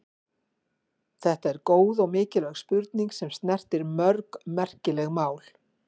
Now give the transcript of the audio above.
Þetta er góð og mikilvæg spurning sem snertir mörg merkileg mál.